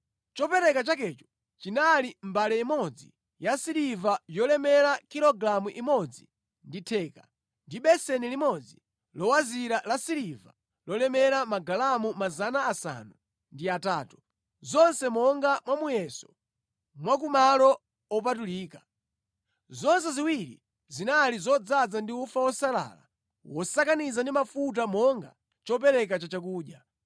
Chopereka chakecho chinali mbale imodzi yasiliva yolemera kilogalamu imodzi ndi theka, ndi beseni limodzi lowazira lasiliva lolemera magalamu 800, zonse monga mwa muyeso wa ku malo opatulika; zonse ziwiri zinali zodzaza ndi ufa wosalala wosakaniza ndi mafuta monga chopereka chachakudya;